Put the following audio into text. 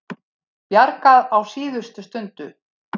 Bjargað á síðustu stundu